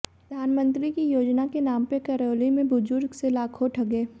प्रधानमंत्री की योजना के नाम पर करौली में बुजुर्ग से लाखों ठगे